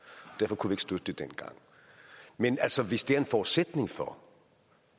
derfor kunne støtte det dengang men altså hvis det er en forudsætning for